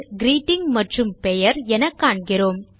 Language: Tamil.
கிரீட்டிங் மற்றும் பெயர் என காண்கிறோம்